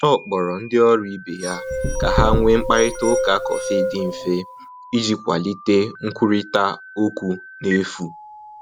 Ọ kpọrọ ndị ọrụ ibe ya ka ha nwee mkparịta ụka kọfị dị mfe iji kwalite nkwurịta okwu n’efu.